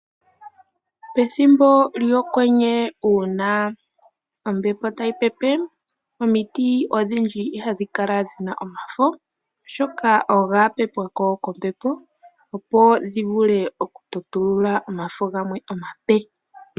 Pethbo lyOkwenye uuna ombepo tayi pepe omiti odhindji ihadhi kala dhi na omafo. Oshoka oga pepwa ko kombepo opo dhi vule okutotulula omafo gamwe omape.